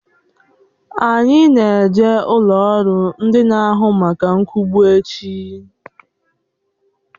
Anyi n'eje ụlọrụ ndi n'ahụ maka nkwubu echi